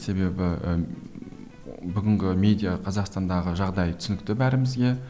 себебі ііі бүгінгі медиа қазақстандағы жағдай түсінікті бәрімізге